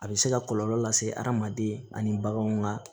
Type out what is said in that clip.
A bɛ se ka kɔlɔlɔ lase hadamaden ani baganw ka